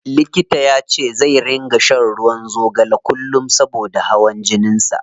Likita yace zai ringa shan ruwan zogale kullum saboda hawan jinin sa.